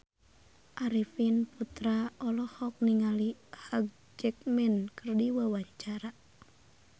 Arifin Putra olohok ningali Hugh Jackman keur diwawancara